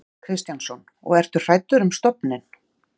Kristján Kristjánsson: Og ertu hræddur um stofninn?